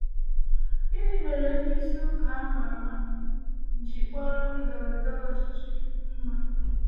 Gịnị mere ndị isi ụka a ma ama ji kpọrọ ndọrọ ndọrọ ọchịchị mma?